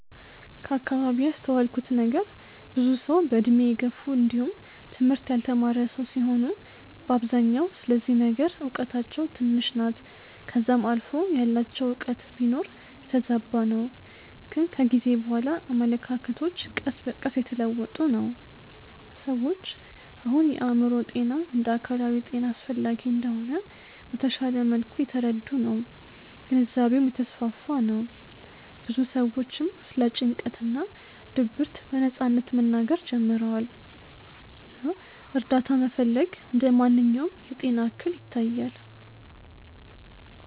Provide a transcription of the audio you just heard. ከአከባቢዬ ያስተዋልኩት ነገር ብዙ ሰዉ በእድሜ የገፉ እንዲውም ትምህርት ያልተማረ ሰዉ ሲሆኑ በአብዛኛው ስለዚህ ነገር እውቀታቸው ትንሽ ናት ከዛም አልፎ ያላቸውም እውቀት ቢኖር የተዛባ ነው ግን ከጊዜ በኋላ አመለካከቶች ቀስ በቀስ እየተለወጡ ነው። ሰዎች አሁን የአእምሮ ጤና እንደ አካላዊ ጤና አስፈላጊ እንደሆነ በተሻለ መልኩ እየተረዱ ነው ግንዛቤውም እየተስፋፋ ነው ብዙ ሰዎችም ስለ ጭንቀት እና ድብርት በነጻነት መናገር ጀምረዋል እና እርዳታ መፈለግ እንደ ማንኛውም የጤና እክል ይታያል።